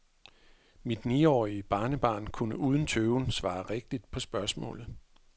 Mit niårige barnebarn kunne uden tøven svare rigtigt på spørgsmålet.